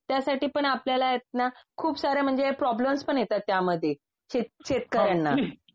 त्यासाठी पण आपल्याला आहेतना खुपसारे म्हणजे प्रॉब्लम्स पण येतात त्यामध्ये. शेत शेतकऱ्यांना